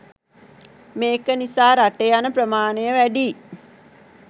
මේක නිසා රට යන ප්‍රමාණය වැඩියි